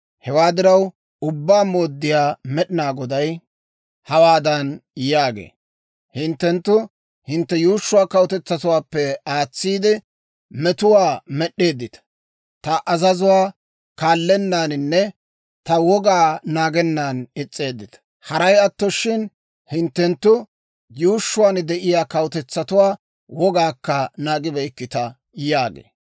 Hewaa diraw, Ubbaa Mooddiyaa Med'inaa Goday hawaadan yaagee; «Hinttenttu hintte yuushshuwaa kawutetsaappe aatsiide metuwaa med'eeddita; ta azazuwaa kaallennaaninne ta wogaa naagennan is's'eeddita. Haray atto shin hinttenttu yuushshuwaan de'iyaa kawutetsatuwaa wogaakka naagibeykkita» yaagee.